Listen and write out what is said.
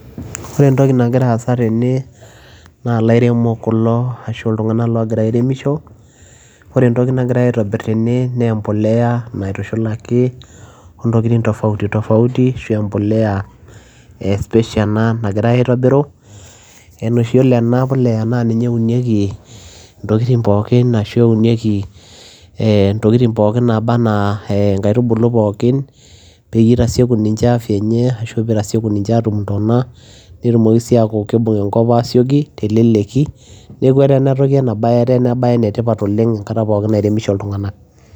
Ore entokii nagiraa aasa tene naa ilaremok kulo ashua ilntunganak loogiraa airemishoo oree entokii nagiraa aitobirr tene naa embolea naitushulakii oo ntokitin tofauti tofauti ki special enaa boles naa keuniekii ntokitin pookin enaa nkaitubuluu pookin peyiee ilepuyiee ninyee afya peyiee itasiekuu ntonaa nibung enkap aasioki teleleki neeku etaa enaa bayee ene tipat enkataa nairenishoo ilntunganak